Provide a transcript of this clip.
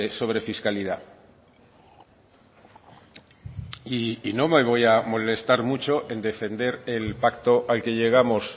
sobre fiscalidad y no me voy a molestar mucho en defender el pacto al que llegamos